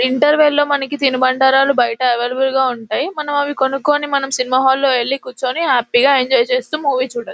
Interval లో మనకి తిను బండారాలు బయట అవైలబ్లె గా ఉంటాయి. మనం అవి కొనుక్కొని మనం సినిమా హాల్ లో ఎల్లి కూర్చుని హ్యాపీ గా ఎంజాయ్ చేస్తూ మూవీ చూడొచ్చు.